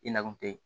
I na kun te yen